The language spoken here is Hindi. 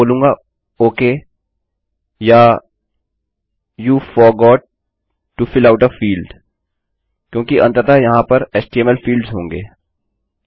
मैं बोलूंगा ओक या you forgot to fill out a fieldआप फील्ड को भरना भूल गए हैं क्योंकि अंततः यहाँ पर एचटीएमएल फील्ड्स होंगे